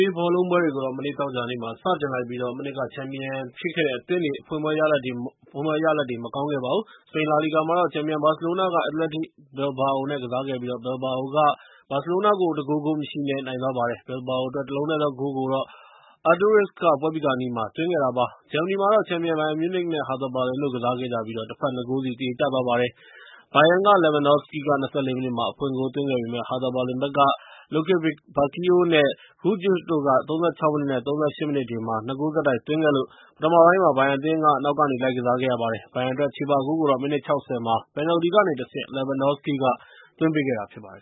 ေးဘောလုံးပွဲတွေကို မနေ့ သောကြာနေ့က စတင်လိုက်ပြီး မနှစ်ကချန်ပီယံဖြစ်ခဲ့တဲ့အသင်းတွေ အဖွင့်ပွဲမှာရလဒ်တွေ မကောင်းခဲ့ပါဘူး။ စပိန်လာလီဂါမှာတော့ ချန်ပီယံဘာစီလိုနာက အက်တလက်တစ်ဘီလ်ဘာအို နဲ့ ကစားခဲ့ပြီး၊ ဘီလ်ဘာအိုက ဘာစီလိုနာကို ၁ ဂိုး ဂိုးမရှိ နဲ့ နိုင်သွားပါတယ်။ ဘီလ်ဘာအိုအတွက် ၁ လုံးတည်းသော အနိုင်ဂိုးကိုတော့ Aduriz က ပွဲပြီးခါနီးမှာ သွင်းသွားခဲ့တာဖြစ်ပါတယ်။ ဂျာမနီမှာတော့ ချန်ပီယံ ဘိုင်ယန်မြူးနစ် နဲ့ ဟာသာဘာလင်တို့ ကစားခဲ့ကြပြီ၊ တဘက် ၂ ဂိုးစီ သရေကျသွားပါတယ်။ ဘိုင်ယန်က Lewandowski က ၂၄ မိနစ်မှာ အဖွင့်ဂိုးသွင်းခဲ့ပေမယ့်၊ ဟာသာဘာလင်ဘက်က Lukebakio နဲ့ Grujic တို့က ၃၆ မိနစ် နဲ့ ၃၈ မိနစ်တွေမှာ ၂ ဂိုး ဆက်တိုက်သွင်းခဲ့လို့ ပထမပိုင်းမှာ ဘိုင်ယန်အသင်း နောက်ကနေ လိုက်ကစားခဲ့ရပါတယ်။ ဘိုင်ယန်အတွက် ချေပဂိုးကိုတော့ မိနစ် ၆၀ မှာ ပယ်နယ်တီကနေ တဆင့် Lewandowski က သွင်းပေးခဲ့တာဖြစ်ပါတယ်